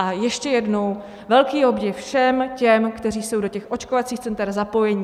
A ještě jednou velký obdiv všem těm, kteří jsou do těch očkovacích center zapojeni.